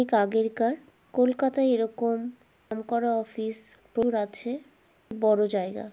ঠিক আগেরকার কলকাতায় এরকম নাম করা অফিস আছে বড় জায়গা।